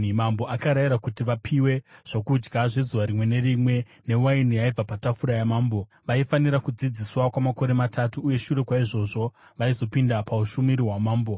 Mambo akarayira kuti vapiwe zvokudya zvezuva rimwe nerimwe newaini yaibva patafura yamambo. Vaifanira kudzidziswa kwamakore matatu, uye shure kwaizvozvo vaizopinda paushumiri hwamambo.